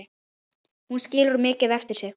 Hún skilur mikið eftir sig.